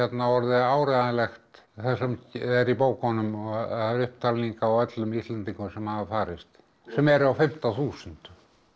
orðið áreiðanlegt það sem er í bókunum það er upptalning á öllum Íslendingum sem hafa farist sem eru á fimmta þúsund